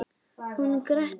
Hún gretti sig.